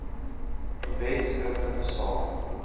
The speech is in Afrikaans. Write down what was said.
wet skriftelik saak